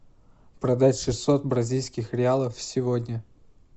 продать шестьсот бразильских реалов сегодня